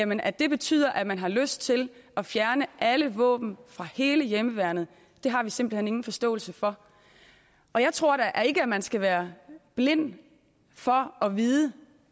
men at det betyder at man har lyst til at fjerne alle våben fra hele hjemmeværnet har vi simpelt hen ingen forståelse for jeg tror ikke man skal være blind for at vide